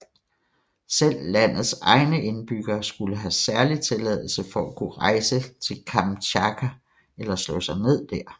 Selv landets egne indbyggere skulle have særlig tilladelse for at kunne rejse til Kamtjatka eller slå sig ned dér